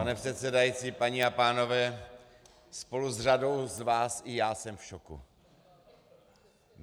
Pane předsedající, paní a pánové, spolu s řadou z vás i já jsem v šoku.